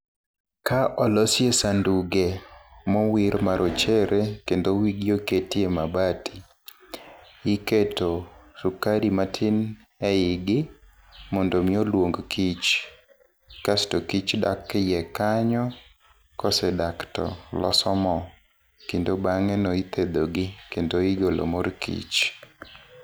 Ka olosye sanduge mowir ma rochere kendo wigi oketye mabati. Iketo sukari matin e igi, mondo omi oluong kich. Kasto kich dak e iye kanyo, kosedak to loso mo, kendo bang'eno ithedhogi kendo igolo mor kich.